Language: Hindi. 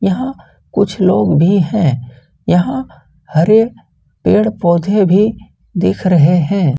यहां कुछ लोग भी हैं यहां हरे पेड़-पौधे भी दिख रहे हैं।